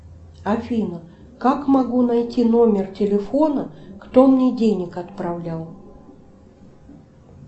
афина как могу найти номер телефона кто мне денег отправлял